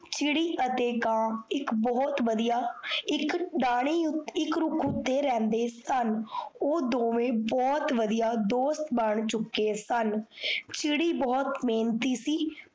ਕੀੜੀ ਅਤੇ ਕਾਂ, ਇਕ ਬੋਹੋਤ ਵਦੀਆ ਇਕ ਇਕ ਰੁੱਖ ਉੱਤੇ ਰਹਿੰਦੇ ਸਨ ਉਹ ਦੋਵੇ ਬੁਹਤ ਵੱਡੀਆਂ ਦੋਸਤ ਬਣ ਚੁੱਕੇ ਸਨ ਚਿੜੀ ਬੁਹਤ ਮੇਹਨਤੀ ਸੀ ਪਾਰ